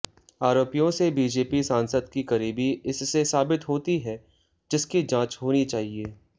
आरोपियों से बीजेपी सांसद की करीबी इससे साबित होती है जिसकी जांच होनी चाहिए